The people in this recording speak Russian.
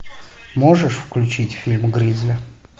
можешь включить фильм гризли